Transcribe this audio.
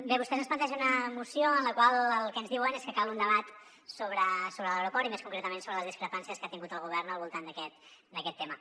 bé vostès ens plantegen una moció en la qual el que ens diuen és que cal un debat sobre l’aeroport i més concretament sobre les discrepàncies que ha tingut el govern al voltant d’aquest tema